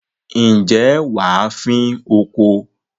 ǹjẹ́ wà á fín oko?